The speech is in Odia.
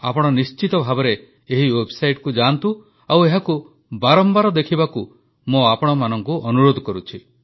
ଆପଣ ନିଶ୍ଚିତ ଭାବେ ଏହି ୱେବସାଇଟକୁ ଯାଆନ୍ତୁ ଆଉ ଏହାକୁ ବାରମ୍ବାର ଦେଖିବାକୁ ମୁଁ ଆପଣମାନଙ୍କୁ ଅନୁରୋଧ କରୁଛି